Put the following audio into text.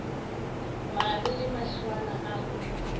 mare le mahlwana a go